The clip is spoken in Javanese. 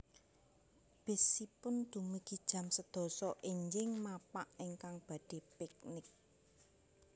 Bis ipun dumugi jam sedasa enjing mapak ingkang badhe piknik